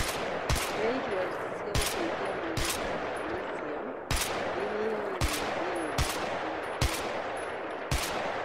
Kũrĩa irio irĩ na indo cia gũteithia mwĩrĩ ta Magnessium nĩinyigagia thĩna wa kũigua gũtahĩka